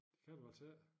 Det kan du altså ik